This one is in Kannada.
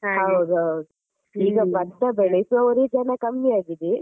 ಹೌದೌದು. ಈಗ ಭತ್ತ ಬೆಳೆಸುವವರೇ ಜನ ಕಮ್ಮಿ ಆಗಿದೆ.